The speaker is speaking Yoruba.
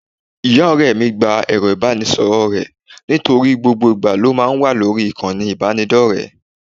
Ìyá ọ̀rẹ́ mi gba ẹ̀rọ ìbánisọ̀rọ̀ rẹ̀ nítorí gbogbo ìgbà ló máa ń wà lórí ìkànnì ìbánidọ́rẹ̀ẹ́